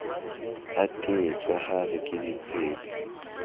a teetswe hare ke ditsietsi